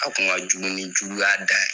A kun ka jugu ni juguya dan ye.